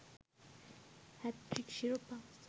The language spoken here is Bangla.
হ্যাটট্রিক শিরোপা